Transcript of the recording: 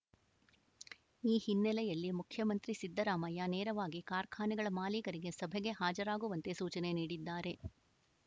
ಈ ಹಿನ್ನೆಲೆಯಲ್ಲಿ ಮುಖ್ಯಮಂತ್ರಿ ಸಿದ್ದರಾಮಯ್ಯ ನೇರವಾಗಿ ಕಾರ್ಖಾನೆಗಳ ಮಾಲೀಕರಿಗೆ ಸಭೆಗೆ ಹಾಜರಾಗುವಂತೆ ಸೂಚನೆ ನೀಡಿದ್ದಾರೆ